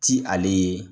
Ti ale ye